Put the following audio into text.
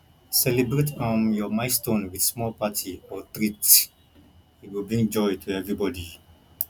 celebrate um your milestone with small party or treat e go bring joy to everybody